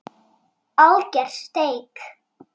Alger steik.